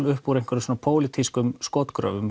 upp úr einhverju svona pólitískum skotgröfum